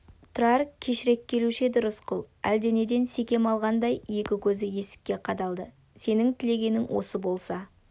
тұрар кешірек келуші еді рысқұл әлденеден секем алғандай екі көзі есікке қадалды сенің тілегенің осы болса